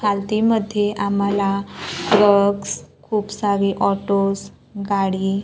मध्ये आम्हाला अह बस खूप सारे ऑटोज गाडी--